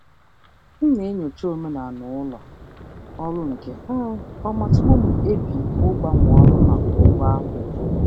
Ana m enyocha omenala ụlọ ọrụ nke ọma tupu m ekpebie ịgbanwe ọrụ n'ihi ụgwọ ọrụ.